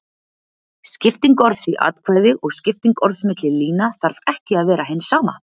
Skipting orðs í atkvæði og skipting orðs milli lína þarf ekki að vera hin sama.